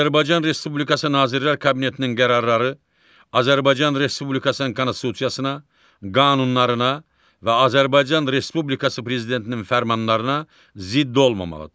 Azərbaycan Respublikası Nazirlər Kabinetinin qərarları Azərbaycan Respublikasının konstitusiyasına, qanunlarına və Azərbaycan Respublikası Prezidentinin fərmanlarına zidd olmamalıdır.